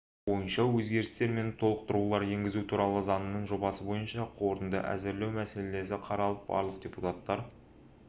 бойынша өзгерістер мен толықтырулар енгізу туралы заңның жобасы бойынша қорытынды әзірлеу мәселесі қаралып барлық депутаттар